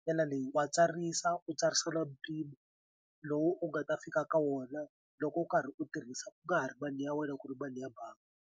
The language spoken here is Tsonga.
ndlela leyi wa tsarisa u tsarisela mpimo lowu u nga ta fika ka wona loko u karhi u tirhisa u nga ha ri mali ya wena ku ri mali ya bangi.